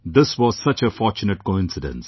This was such a fortunate coincidence